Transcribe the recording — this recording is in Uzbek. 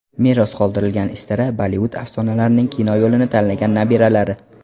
Meros qoldirilgan istara: Bollivud afsonalarining kino yo‘lini tanlagan nabiralari .